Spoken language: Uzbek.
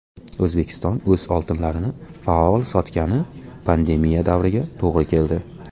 O‘zbekiston o‘z oltinlarini faol sotgani pandemiya davriga to‘g‘ri keldi.